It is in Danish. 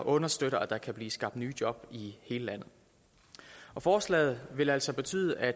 understøtter at der kan blive skabt nye job i hele landet og forslaget vil altså betyde at